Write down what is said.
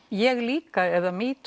ég líka eða